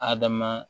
Adama